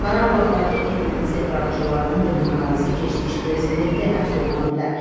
Qarabağdakı erməni separatçılarının dırnaqarası keçmiş prezidenti həbs oluna bilər.